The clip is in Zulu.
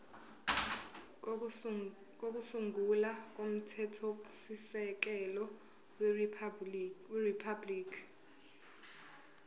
kokusungula komthethosisekelo weriphabhuliki